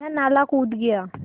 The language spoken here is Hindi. वह नाला कूद गया